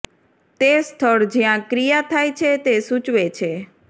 તે સ્થળ જ્યાં ક્રિયા થાય છે તે સૂચવે છે